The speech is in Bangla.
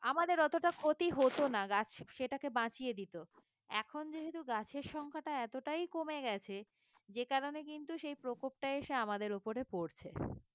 আমাদের অতটা ক্ষতি হতো না গাছ সেটাকে বাঁচিয়ে দিত এখন যেহেতু গাছের সংখ্যাটা এতটাই কমে গেছে যে কারণে কিন্তু সেই প্রকোপটা এসে আমাদের ওপরে পড়ছে